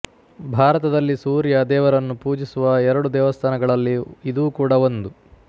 ಭಾರತದಲ್ಲಿ ಸೂರ್ಯ ದೇವರನ್ನು ಪೂಜಿಸುವ ಎರಡು ದೇವಸ್ಥಾನಗಳಲ್ಲಿ ಇದೂ ಕೂಡ ಒಂದು